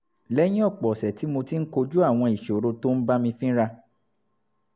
lẹ́yìn ọ̀pọ̀ ọ̀sẹ̀ tí mo ti ń kojú àwọn ìṣòro tó ń bá mi fínra